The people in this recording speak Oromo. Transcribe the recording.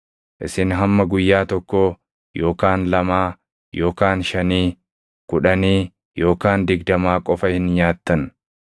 Isin hamma guyyaa tokkoo, yookaan lamaa, yookaan shanii, kudhanii, yookaan digdamaa qofa hin nyaattan;